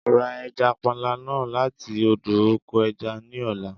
Ra ẹja panla náà láti odò oko ẹja ní ọ̀la.